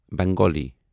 Bengali